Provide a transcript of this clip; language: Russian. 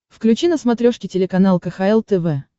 включи на смотрешке телеканал кхл тв